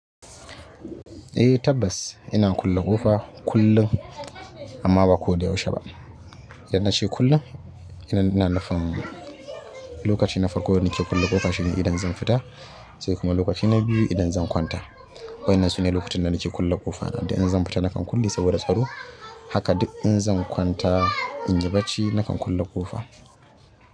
Eh tabbas ina kulle ƙofa kullun amma ba ko da yaushe ba. Idan na she kullun, kenan ina nufin lokaci na farko da nake kulle ƙofa shine idan zan fita sai kuma lokaci na biyu idan zan kwanta. Waƴannan sune lukutan da nake kulle ƙofa. Inda in zan fita nakan kulle saboda tsaro. Haka duk in zan kwanta in yi bacci nakan kulle ƙofa.